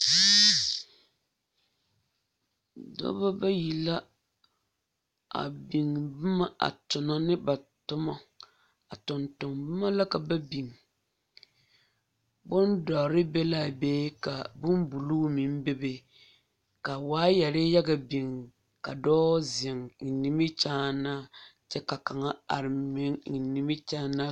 Pɔge la zeŋ boŋ pelaa zu a de daare a kpare ne k,o tagra kyɛ ka lɔɔpelaa meŋ are a soriŋ ka bonzeɛ toɔ kyɛ ka kuruu be o lambori seŋ ka kuruu kaŋ meŋ gaŋ a sori sensogleŋ waa wogi lɛ.